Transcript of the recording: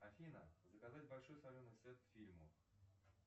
афина заказать большой соленый сет к фильму